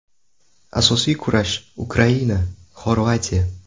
Asosiy kurash: Ukraina Xorvatiya.